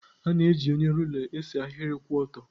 A na-eji onye rula esee ahịrị kwụ ọtọ.